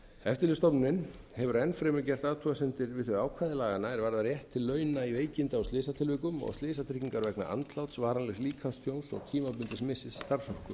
eftirlitsstofnun hefur enn fremur gert athugasemdir við þau ákvæði laganna er varða rétt til launa í veikinda og slysatilvikum og slysatryggingar vegna andláts varanlegs líkamstjóns og tímabundins missis starfsorku sem er